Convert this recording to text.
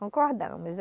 Concordamos.